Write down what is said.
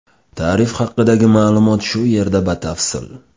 Tarif haqidagi ma’lumot shu yerda batafsil.